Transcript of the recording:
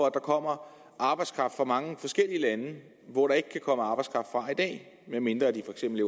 at der kommer arbejdskraft fra mange forskellige lande hvor der ikke kan komme arbejdskraft fra i dag medmindre de for eksempel